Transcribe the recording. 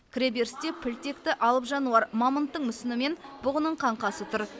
кіре берісте піл текті алып жануар мамонттың мүсіні мен бұғының қаңқасы тұр